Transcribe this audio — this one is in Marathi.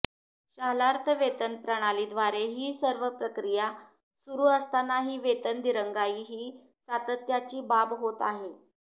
शालार्थ वेतन प्रणालीद्वारे ही सर्व प्रक्रिया सुरू असतानाही वेतन दिरंगाई ही सातत्याची बाब होत आहे